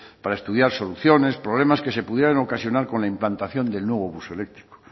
para estudiar soluciones problemas que se pudieran ocasionar con la implantación del nuevo bus eléctrico